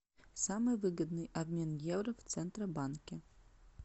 самый выгодный обмен евро в центробанке